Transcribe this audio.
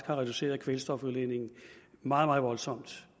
har reduceret kvælstofudledningen meget meget voldsomt